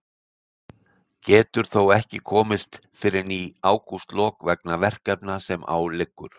Getur þó ekki komist fyrr en í ágústlok vegna verkefna sem á liggur.